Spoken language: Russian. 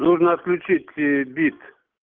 нужно отключить э бит